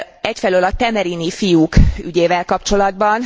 egyfelől a temerini fiúk ügyével kapcsolatban.